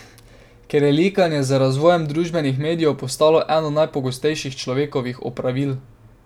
Ker je likanje z razvojem družbenih medijev postalo eno najpogostejših človekovih opravil.